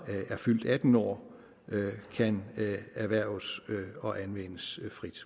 er fyldt atten år kan erhverves og anvendes frit